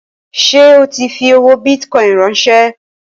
Ṣé o tí fi owó bìtìcoin ránsẹ́?